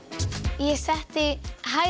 ég setti hægri